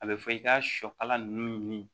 A bɛ fɔ i ka sɔ kala ninnu ɲini